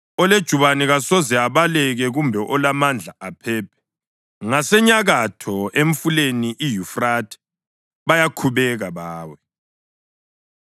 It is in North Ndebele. “Olejubane kasoze abaleke kumbe olamandla aphephe. Ngasenyakatho, emfuleni iYufrathe bayakhubeka bawe.